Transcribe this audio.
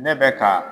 Ne bɛ ka